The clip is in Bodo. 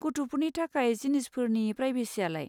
गथ'फोरनि थाखाय जिनिसफोरनि प्रायभेसियालाय?